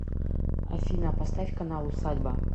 афина поставь канал усадьба